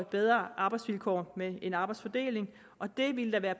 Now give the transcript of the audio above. bedre arbejdsvilkår med en arbejdsfordeling og det ville der være